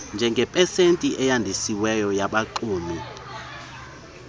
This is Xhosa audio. njengepesenti eyandisiweyo yabaxumi